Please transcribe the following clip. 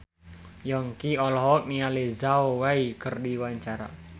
Yongki olohok ningali Zhao Wei keur diwawancara